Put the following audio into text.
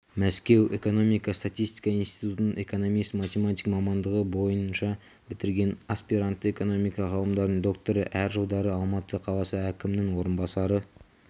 мәскеу экономика-статистика институтын экономист-математик мамандығы бойыншабітірген аспиранты экономика ғылымдарының докторы әр жылдары алматы қаласы әкімінің орынбасары